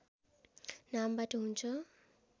नामबाट हुन्छ